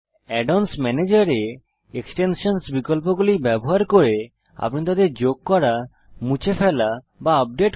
add অন্স ম্যানেজের এ এক্সটেনশনসহ বিকল্প ব্যবহার করে আপনি এক্সটেনশান পরিচালনা করুন অর্থাত তাদের যোগ করা মুছে ফেলা বা আপডেট করা